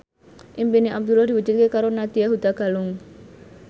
impine Abdullah diwujudke karo Nadya Hutagalung